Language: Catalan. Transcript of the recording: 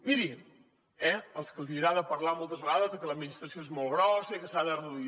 miri eh als que els hi agrada parlar moltes vegades de que l’administració és molt grossa i que s’ha de reduir